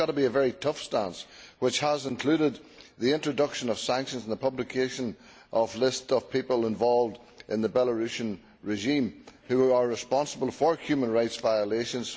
It has to be a very tough stance, including the introduction of sanctions and the publication of lists of people involved in the Belarusian regime who are responsible for human rights violations